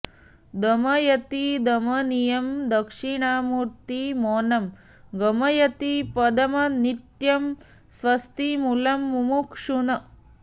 दमयति दमनीयं दक्षिणामूर्ति मौनं गमयति पदमन्त्यं स्वस्तिमूलं मुमुक्षून्